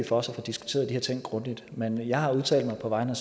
for os at få diskuteret de her ting grundigt men jeg har udtalt mig på vegne